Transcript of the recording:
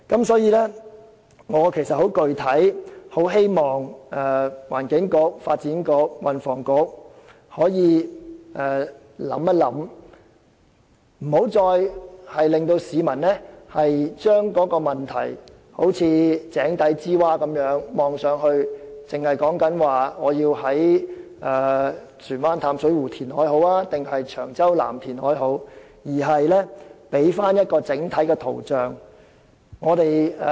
所以，我十分具體地希望環境局、發展局和運輸及房屋局好好想一想，不要再令市民好像井底之蛙般，從井底向上看待這問題，只討論究竟要在船灣淡水湖還是長洲南進行填海，而應該提供一幅整體的圖像。